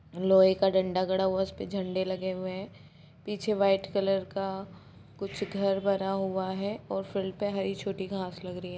लोहे का डंडा गड़ा हुआ है उसपे झंडे लगे हुए हैं पीछे वाइट कलर का कुछ घर बना हुआ है और फील्ड पे हरी छोटी घास लगी हुई है।